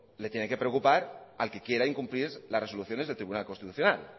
le tiene que preocupar al que quiera incumplir las resoluciones del tribunal constitucional